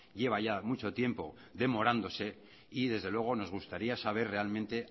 lleva ya mucho tiempo demorándose y desde luego nos gustaría saber realmente